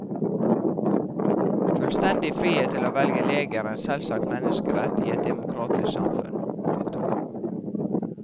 Fullstendig frihet til å velge lege er en selvsagt menneskerett i et demokratisk samfunn. punktum